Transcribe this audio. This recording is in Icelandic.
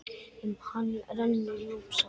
Um hann rennur Núpsá.